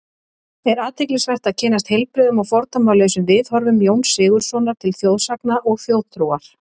Er athyglisvert að kynnast heilbrigðum og fordómalausum viðhorfum Jóns Sigurðssonar til þjóðsagna og þjóðtrúar.